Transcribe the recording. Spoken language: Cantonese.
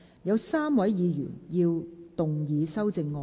有3位議員要動議修正案。